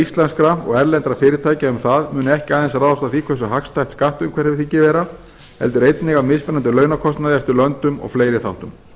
íslenskra og erlendra fyrirtækja um það munu ekki aðeins ráðast af því hversu hagstætt skattaumhverfið þykir vera heldur einnig af mismunandi launakostnaði eftir löndum og fleiri þáttum